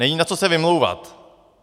Není na co se vymlouvat.